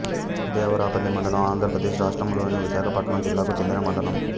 దేవరాపల్లి మండలం ఆంధ్ర ప్రదేశ్ రాష్ట్రములోని విశాఖపట్నం జిల్లాకు చెందిన మండలం